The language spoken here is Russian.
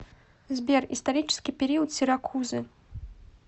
сбер исторический период сиракузы